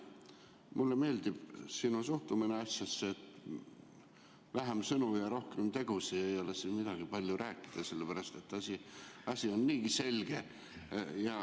Mulle meeldib sinu suhtumine asjasse – vähem sõnu ja rohkem tegusid, ei ole siin midagi palju rääkida, sellepärast et asi on niigi selge.